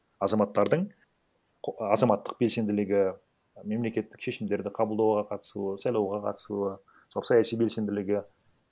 азаматтардың азаматтық белсенділігі мемлекеттік шешімдерді қабылдауға қатысуы сайлауға қатысуы сол саяси белсенділігі